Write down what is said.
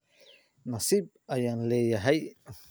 nasiib ayaan leeyahay